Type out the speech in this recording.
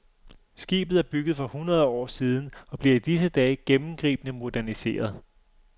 Skibet er bygget for hundrede år siden og bliver i disse dage gennemgribende moderniseret.